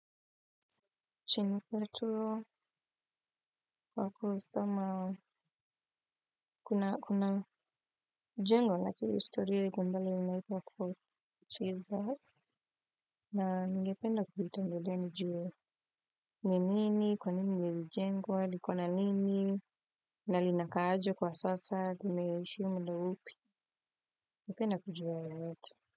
Chini kato kwa kustama kuna jengo na kiriistorio iko mbali unaipa fort Jesus. Na ngependa kupita mbodea nijuo nini, kwa nini yu jengwa, likona nini, na lina kaaje kwa sasa, kumeishi yu mdo upi, nipenda kujua ya wati.